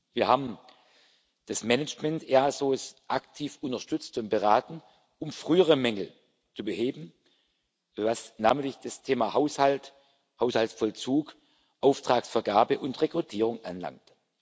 Wir haben das Management des EASO aktiv unterstützt und beraten, um frühere Mängel zu beheben, was namentlich das Thema Haushalt, Haushaltsvollzug, Auftragsvergabe und Rekrutierung anlangt.